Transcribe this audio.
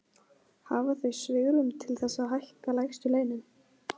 Hafa þau svigrúm til þess að hækka lægstu launin?